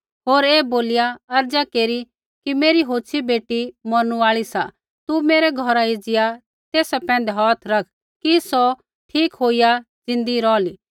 होर ऐ बोलिया अर्ज़ा केरी कि मेरी होछ़ी बेटी मौरनू आल़ी सा तू मेरै घौरा एज़िया तेसा पैंधै हौथ रख कि सौ ठीक होईया ज़िन्दी रौहली